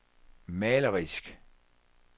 malerisk